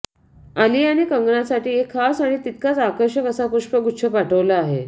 आलियाने कंगनासाठी एका खास आणि तितकाच आकर्षक असा पुष्पगुच्छ पाठवला आहे